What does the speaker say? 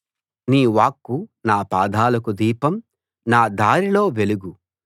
నీ వాక్కు నా పాదాలకు దీపం నా దారిలో వెలుగు